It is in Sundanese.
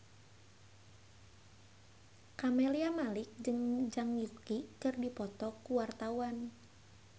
Camelia Malik jeung Zhang Yuqi keur dipoto ku wartawan